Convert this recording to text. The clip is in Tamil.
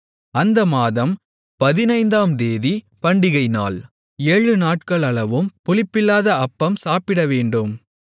அந்த மாதம் பதினைந்தாம் தேதி பண்டிகை நாள் ஏழு நாட்களளவும் புளிப்பில்லாத அப்பம் சாப்பிடவேண்டும்